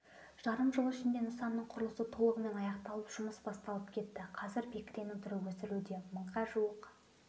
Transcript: жарым жыл ішінде нысанның құрылысы толығымен аяқталып жұмыс басталып кетті қазір бекіренің түрі өсірілуде мыңға жуық